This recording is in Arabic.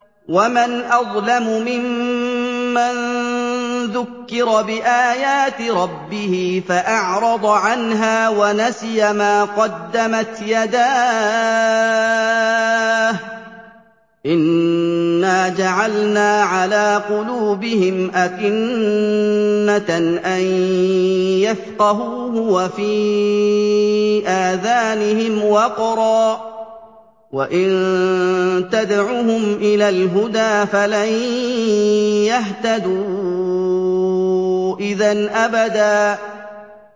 وَمَنْ أَظْلَمُ مِمَّن ذُكِّرَ بِآيَاتِ رَبِّهِ فَأَعْرَضَ عَنْهَا وَنَسِيَ مَا قَدَّمَتْ يَدَاهُ ۚ إِنَّا جَعَلْنَا عَلَىٰ قُلُوبِهِمْ أَكِنَّةً أَن يَفْقَهُوهُ وَفِي آذَانِهِمْ وَقْرًا ۖ وَإِن تَدْعُهُمْ إِلَى الْهُدَىٰ فَلَن يَهْتَدُوا إِذًا أَبَدًا